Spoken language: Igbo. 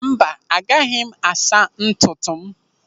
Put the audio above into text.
Mba, aga m asa naanị ntutu m.